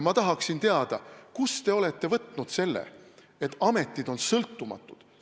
Ma tahaksin teada, kust te olete võtnud selle, et ametid on sõltumatud.